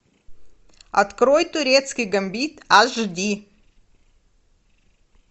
открой турецкий гамбит аш ди